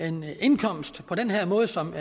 en indkomst på den her måde som